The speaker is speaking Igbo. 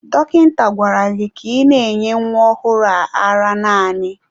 Dọkịta gwara gị ka ị na-enye nwa ọhụrụ a ara naanị!